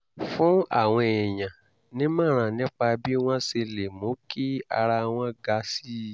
fún àwọn èèyàn nímọ̀ràn nípa bí wọ́n ṣe lè mú kí ara wọn ga sí i